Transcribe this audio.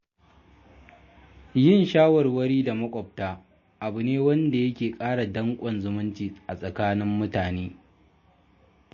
Yin shawarwari da maƙwabta abu ne da yake ƙara danƙon zumunci a tsakanin mutane.